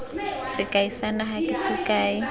sekai sa naga ke sekai